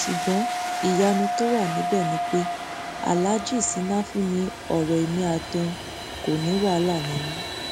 ṣùgbọn ìyanu tó wà níbẹ ni pé aláàjì sínáfì ní ọrọ ẹmí àti òun kò ní wàhálà nínú